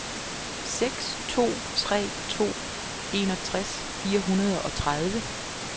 seks to tre to enogtres fire hundrede og tredive